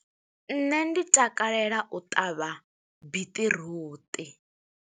Nṋe ndi takalela u ṱavha, biṱiruṱi.